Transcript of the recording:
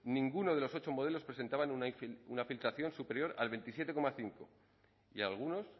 ninguno de los ocho modelos presentaban una filtración superior al veintisiete coma cinco y algunos